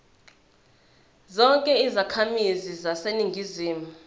zonke izakhamizi zaseningizimu